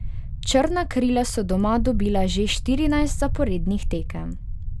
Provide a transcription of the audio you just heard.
Črna krila so doma dobila že štirinajst zaporednih tekem.